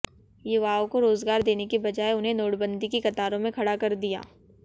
युवाओं को रोजगार देने की बजाय उन्हें नोटबंदी की कतारों में खड़ा कर दिया